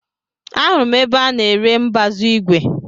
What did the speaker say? Ahụrụ m ebe a ná-ere mbazu igwe.